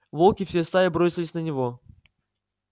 волки всей стаей бросились на него